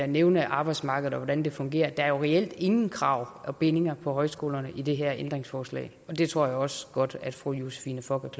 nævne arbejdsmarkedet og hvordan det fungerer der er reelt ingen krav og bindinger for højskolerne i det her ændringsforslag og det tror jeg også godt fru josephine fock